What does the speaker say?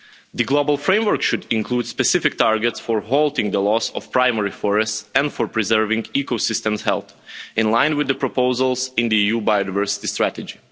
The global framework should include specific targets for halting the loss of primary forests and for preserving ecosystems' health, in line with the proposals in the EU biodiversity strategy.